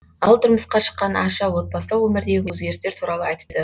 ал тұрмысқа шыққан аша отбасылық өмірдегі өзгерістер туралы айтты